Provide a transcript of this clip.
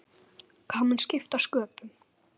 Hvað mun skipta sköpum?